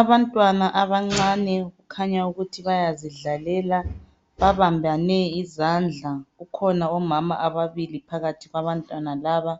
Abantwana abancane kukhanya ukuthi bayazidlalela babambane izandla kukhona omama ababili phakathi kwabantwana laba